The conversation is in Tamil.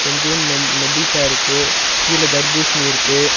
கொஞ்சோண்டு நென் நெல்லிக்கா இருக்கு கீழ தர்ப்பூசணி இருக்கு.